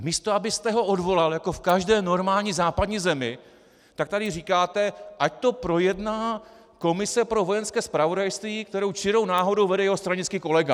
A místo abyste ho odvolal jako v každé normální západní zemi, tak tady říkáte, ať to projedná komise pro Vojenské zpravodajství, kterou čirou náhodou vede jeho stranický kolega.